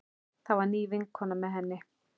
Það var ný vinkona með henni.